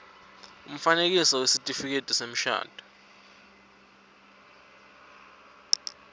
umfanekiso wesitifiketi semshado